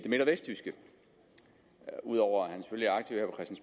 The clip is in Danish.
midt og vestjyske ud over